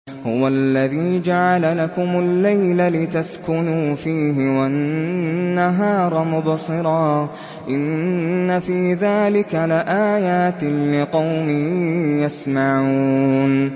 هُوَ الَّذِي جَعَلَ لَكُمُ اللَّيْلَ لِتَسْكُنُوا فِيهِ وَالنَّهَارَ مُبْصِرًا ۚ إِنَّ فِي ذَٰلِكَ لَآيَاتٍ لِّقَوْمٍ يَسْمَعُونَ